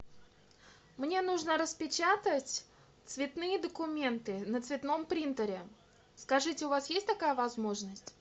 мне нужно распечатать цветные документы на цветном принтере скажите у вас есть такая возможность